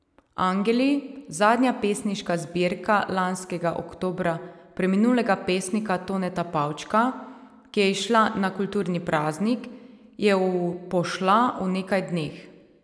Angeli, zadnja pesniška zbirka lanskega oktobra preminulega pesnika Toneta Pavčka, ki je izšla na kulturni praznik, je v pošla v nekaj dneh.